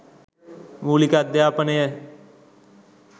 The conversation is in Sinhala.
මූලික අධ්‍යාපනය